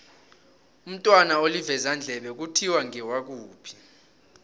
umntwana olivezandlebe kuthiwa ngewakuphi